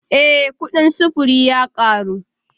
Eh kudin sufuri ya karu